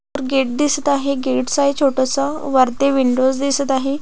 Gate दिसत आहे gates आहे छोटस वरती विंडोज दिसत आहे.